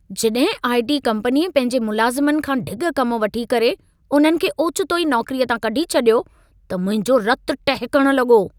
जॾहिं आई.टी. कम्पनीअ पंहिंजे मुलाज़िमनि खां ढिॻ कम वठी करे, उन्हनि खे ओचितो ई नौकरीअ तां कढी छॾियो, त मुंहिंजो रत टहिकण लॻो।